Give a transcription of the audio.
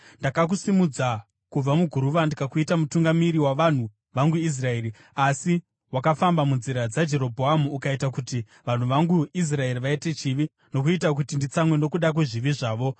“Ndakakusimudza kubva muguruva ndikakuita mutungamiri wavanhu vangu Israeri, asi wakafamba munzira dzaJerobhoamu ukaita kuti vanhu vangu Israeri vaite chivi, nokuita kuti nditsamwe nokuda kwezvivi zvavo.